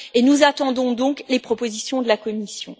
Et nous attendons donc les propositions de la Commission.